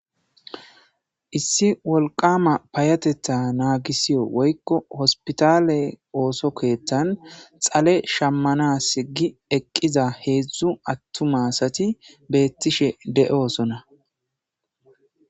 issi wolqama payateta naagisiyo woykko hospitale ooso keettan xale shammana sigi eqqiza heedzdzu attuma asati beettishe de7oosona